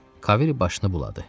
Kaviri başını buladı.